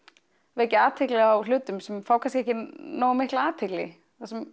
vekja athygli á hlutum sem fá kannski ekki nógu mikla athygli